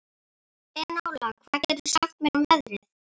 Enóla, hvað geturðu sagt mér um veðrið?